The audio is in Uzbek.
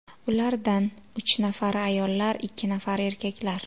Ulardan uch nafari ayollar, ikki nafari erkaklar.